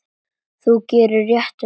Þú gerir réttu lögin.